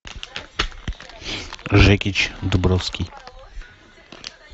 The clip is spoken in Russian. жекич дубровский